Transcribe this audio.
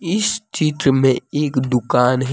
इस चित्र में एक दुकान है।